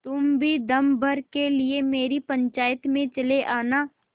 तुम भी दम भर के लिए मेरी पंचायत में चले आना